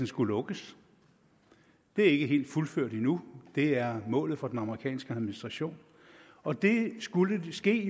skulle lukkes det er ikke helt fuldført endnu det er målet for den amerikanske administration og det skulle jo ske